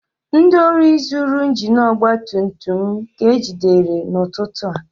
Ndị ohi zuru injin ọgba tum tum m ka ejidere n'ụtụtụ a